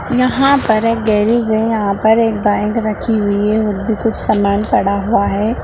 यहाँ पर एक गैरीज है | यहाँ पर एक बाइक रखी हुई है और भी कुछ सामान पड़ा हुआ है।